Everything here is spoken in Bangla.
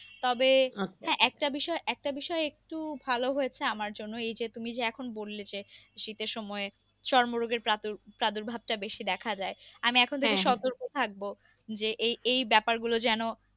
তবে একটা বিষয় একটা বিষয় একটু ভালো হয়েছে আমার জন্য এই যে তুমি যে এখন বললে যে শীতের সময় চর্মরোগের প্রাদুর প্রাদুর্ভাবটা বেশি দেখা যায় আমি এখন থেকে থাকবো যে এই এই ব্যাপার গুলোর যেন